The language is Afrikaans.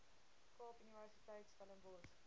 kaap universiteit stellenbosch